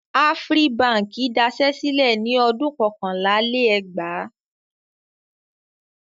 Afri Báńkì daṣẹ́ sílẹ̀ ní ọdún kọkànlá-lé-ẹgbàá.